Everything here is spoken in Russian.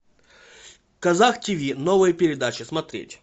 казах тв новая передача смотреть